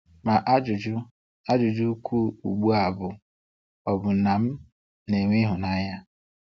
Ma ajụjụ ajụjụ ukwuu ugbu a bụ, ọ̀ bụ na m na-enwe ịhụnanya?